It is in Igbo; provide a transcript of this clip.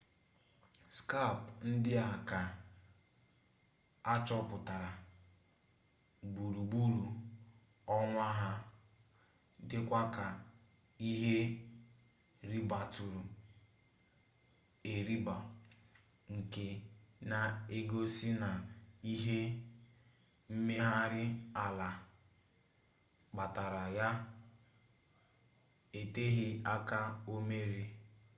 skap ndị a ka achọpụtara gburugburu ọnwa ha dịkwa ka ihe ribatụrụ eriba nke na-egosi na ihe mmegharị ala kpatara ya eteghị aka omere